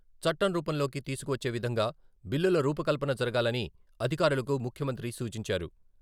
చట్టం రూపంలోకి తీసుకువచ్చే విధంగా బిల్లుల రూపకల్పన జరగాలని అధికారులకు ముఖ్యమంత్రి సూచించారు.